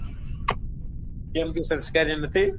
કેમ તું સંસ્કારી નથી?